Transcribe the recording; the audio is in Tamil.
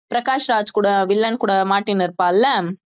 பிரகாஷ் ராஜ் கூட வில்லன் கூட மாட்டிட்டு இருப்பான்ல